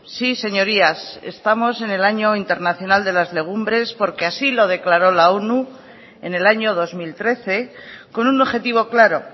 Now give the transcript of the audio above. sí señorías estamos en el año internacional de las legumbres porque así lo declaró la onu en el año dos mil trece con un objetivo claro